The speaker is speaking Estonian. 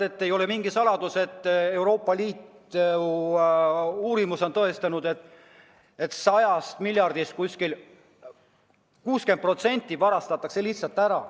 Ei ole mingi saladus, Euroopa Liidu uurimus on seda tõestanud, et 100 miljardist umbes 60% varastatakse lihtsalt ära.